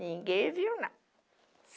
Ninguém viu, não.